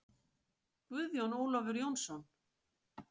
Guðjón Ólafur Jónsson